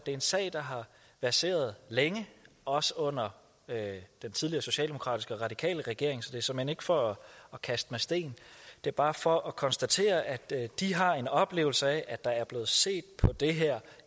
det er en sag der har verseret længe også under den tidligere socialdemokratisk radikale regering så det er såmænd ikke for at kaste med sten det er bare for at konstatere at de har en oplevelse af at der er blevet set på det her